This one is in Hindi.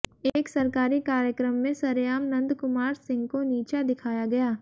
एक सरकारी कार्यक्रम में सरेआम नंदकुमार सिंह को नीचा दिखाया गया